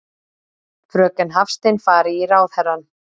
Fröken Hafstein fari í ráðherrann.